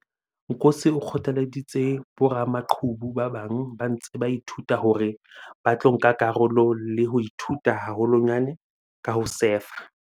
Nkosi o kgothalleditse boramaqhubu ba bang ba ntseng ba ithuta hore ba tlo nka karolo le ho ithuta haholwanyane ka ho sefa.